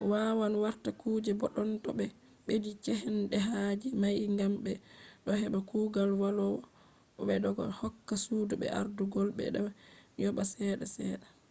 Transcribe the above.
wawan warta kuje boddon to be beddi cehdehaaje mai gam be do heba kugal vallowo bo be do hokka sudu be ardugol bo be do yoba cede sedda